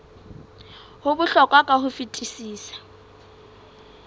ho bohlokwa ka ho fetisisa